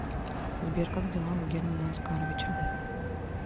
сбер как дела у германа оскаровича